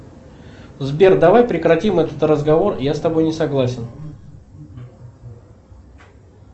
сбер давай прекратим этот разговор я с тобой не согласен